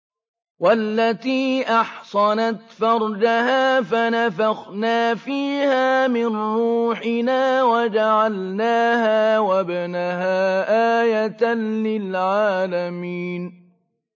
وَالَّتِي أَحْصَنَتْ فَرْجَهَا فَنَفَخْنَا فِيهَا مِن رُّوحِنَا وَجَعَلْنَاهَا وَابْنَهَا آيَةً لِّلْعَالَمِينَ